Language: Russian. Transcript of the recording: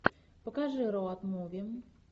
покажи роад муви